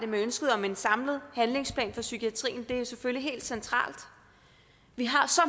med ønsket om en samlet handlingsplan for psykiatrien det er jo selvfølgelig helt centralt vi har så